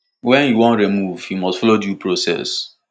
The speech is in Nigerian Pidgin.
wen you wan remove you must follow due process